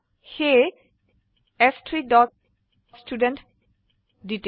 সেয়ে চ3 dot student detail